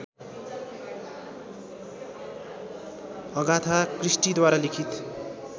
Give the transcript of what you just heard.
Agatha क्रिस्टीद्वारा लिखित